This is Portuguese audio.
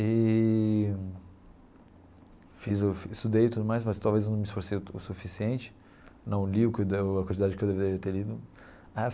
Eee fiz o estudei tudo mais, mas talvez eu não me esforcei o o suficiente, não li o a quantidade que eu deveria ter lido.